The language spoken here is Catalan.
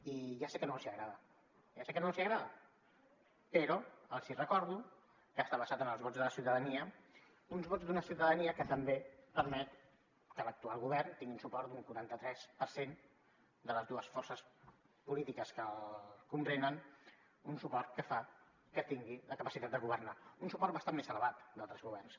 i ja sé que no els agrada ja sé que no els agrada però els recordo que està basada en els vots de la ciutadania uns vots d’una ciutadania que també permet que l’actual govern tingui un suport d’un quaranta tres per cent de les dues forces polítiques que el comprenen un suport que fa que tingui la capacitat de governar un suport bastant més elevat que altres governs